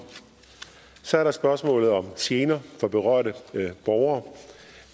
så er der spørgsmålet om gener for berørte borgere